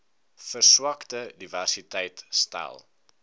verswakte diversiteit stel